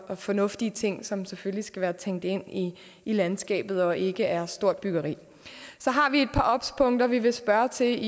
fornuftig ting som selvfølgelig skal være tænkt ind i landskabet og ikke er stort byggeri så har vi et par obs punkter vi vil spørge ind til